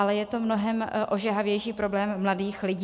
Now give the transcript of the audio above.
Ale je to mnohem ožehavější problém mladých lidí.